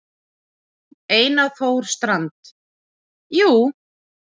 Einar Þór Strand: Jú.